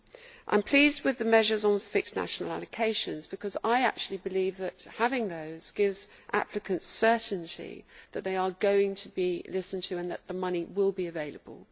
I am pleased with the measures on fixed national allocations, because I actually believe that having those gives applicants certainty that they are going to be listened to and that the money will be available.